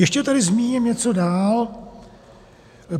Ještě tedy zmíním něco dál.